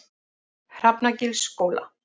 Hrafnagilsskóla